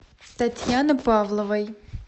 татьяны павловой